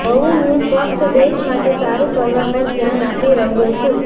હવું હું ફક્ત દેશ માટે સારું કરવા પર ધ્યાન આપી રહ્યો છું